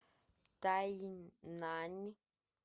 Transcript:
тайнань